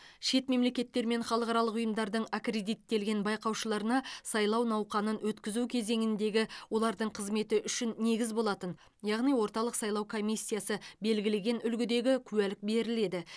шет мемлекеттер мен халықаралық ұйымдардың аккредиттелген байқаушыларына сайлау науқанын өткізу кезеңіндегі олардың қызметі үшін негіз болатын яғни орталық сайлау комиссиясы белгілеген үлгідегі куәлік беріледі